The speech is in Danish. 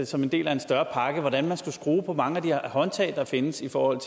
som en del af en større pakke hvordan man skulle skrue på mange af de her håndtag der findes i forhold